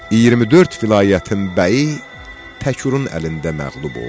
24 vilayətin bəyi Təkürün əlində məğlub oldu.